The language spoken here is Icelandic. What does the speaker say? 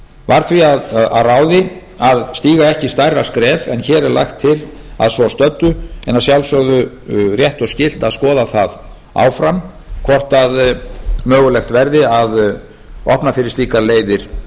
var því að ráði að stíga ekki stærra skref en hér er lagt til að safn stöddu en að sjálfsögðu rétt og skylt að skoða það áfram hvort mögulegt verði að opna fyrir slíkar leiðir